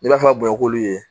N'i b'a fɛ ka bɔn k'olu ye